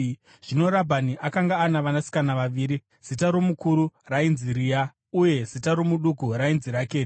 Zvino Rabhani akanga ana vanasikana vaviri; zita romukuru rainzi Rea uye zita romuduku rainzi Rakeri.